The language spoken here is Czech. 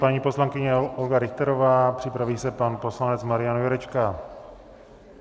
Paní poslankyně Olga Richterová, připraví se pan poslanec Marian Jurečka.